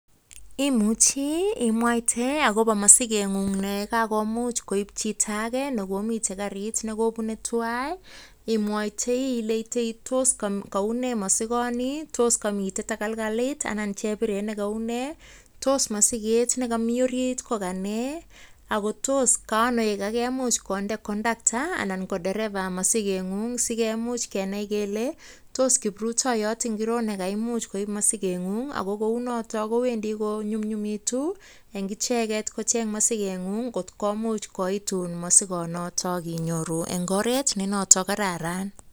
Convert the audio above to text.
Imuchi imwaite agobo mosigeng'ung ne kagomuch koib chito age nekomiten karit ne kobune twan. Imwoitoi ile tos kou ne mosigoni? Tos komi tagolgolet ne kou nee? Tos mosiget ne komi orit ko kanee? Ago tos ka ano ye kaimuch konde kondaktaa anan ko dereva mosigeng'ung sigemuch kenai kele tos kiprutoyot ngiro ne kaimuch koib mosigeng'ung ago kounoto kowendi konymnyumitu en icheget kocheng mosikeng'ung kot komuch koitun mosigonoto inyoru en oret ne noton kararan.